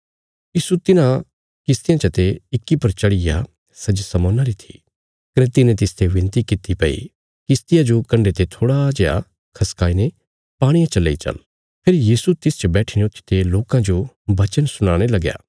यीशु तिन्हां किश्तियां चते इक्की पर चढ़ीग्या सै जे शमौना री थी कने तिने तिसते बिनती किति भई कश्तिया जो कण्डे ते थोड़ा जेआ खसकाई ने पाणिये च लेई चल फेरी यीशु तिसच बैट्ठीने ऊथीते लोकां जो बचन सुनाणे लगया